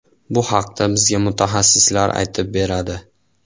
Bu haqda bizga mutaxassislar aytib beradi.